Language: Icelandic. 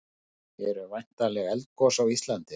eru væntanleg eldgos á íslandi